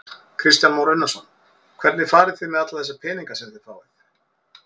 Kristján Már Unnarsson: Hvernig farið þið með alla þessa peninga sem þið fáið?